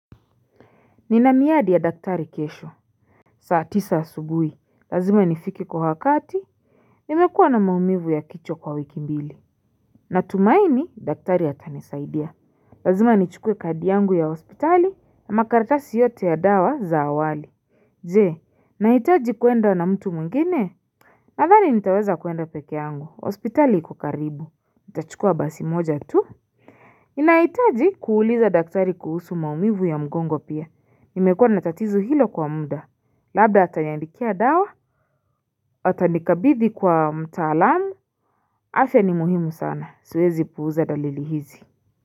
Nina miadi ya daktari kesho saa tisa asubui, lazima nifike kwa wakati Nimekuwa na maumivu ya kichwa kwa wiki mbili Natumaini, daktari ata nisaidia Lazima nichukue kadi yangu ya hospitali na makaratasi yote ya dawa za awali Ze, naitaji kuenda na mtu mwingine? Nadhani nitaweza kuenda pekee yangu, hospitali iko karibu Nitachukua basi moja tu? Inaitaji kuuliza daktari kuhusu maumivu ya mgongo pia, nimekuwa natatizu hilo kwa muda, labda ataniandikia dawa, atanikabidi kwa mtaalamu, afya ni muhimu sana, siwezi puuza dalili hizi.